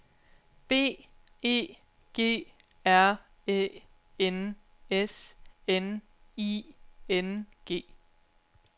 B E G R Æ N S N I N G